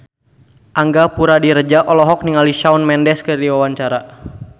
Angga Puradiredja olohok ningali Shawn Mendes keur diwawancara